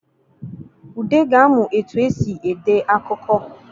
Ude ga-amụ etu e si ede akụkọ